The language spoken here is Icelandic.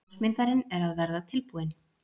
Ljósmyndarinn er að verða tilbúinn.